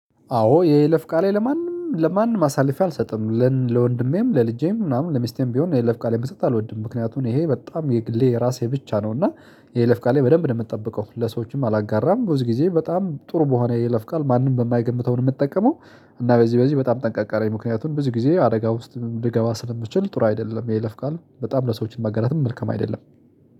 አዎ የይለፍ ቃሌ ለማንም ለማንም አሳልፌ አልሰጥም ለወንድሜም ለልጄም ምናምን ለሚስቴም ቢሆን የይለፍ ቃሌን መስጠት አልወድም። ምክንያቱም ይሄ በጣም የግሌ የራሴ ብቻ ነው እና የይለፍ ቃሌ በደንብ ነው የምጠብቀው ለሰዎችም አላጋራም ብዙ ጊዜ በጣም ጥሩ በሆነ የይለፍቃል ማንም በማይገምተው ነው የምጠቀመው። እና በዚህ በዚህ በጣም ጠንቃቃ ነኝ። ምክንያቱም ብዙ ጊዜ አደጋ ውስጥ ልገባ ስለምችል ጥሩ አይደለም የለፍ ቃል በጣም ለሰዎችን ማጋራትም መልካም አይደለም